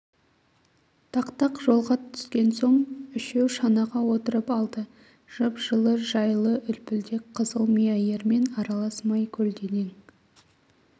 тақтақ жолға түскен соң үшеу шанаға отырып алды жып-жылы жайлы үлплдек қызылмия ермен аралас май көденің